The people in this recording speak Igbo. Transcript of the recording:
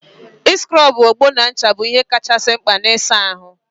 ị sịkrọbụ ogbo na ncha bụ ihe kachasị mkpa n'ịsa ahụ.